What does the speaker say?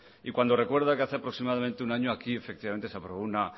y cuando recuerda que hace aproximadamente un año aquí efectivamente se aprobó una